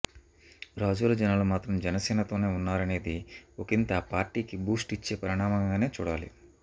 రాజోలు జనాలు మాత్రం జనసేనతోనే ఉన్నారనేది ఒకింత ఆ పార్టీకి బూస్ట్ ఇచ్చే పరిణామంగానే చూడాలి